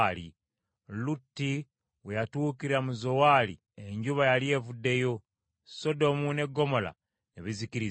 Lutti we yatuukira mu Zowaali enjuba yali evuddeyo, Sodomu ne Ggomola ne bizikirizibwa.